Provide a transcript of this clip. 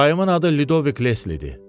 Dayımın adı Lidovik Leslidir.